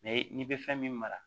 n'i bɛ fɛn min mara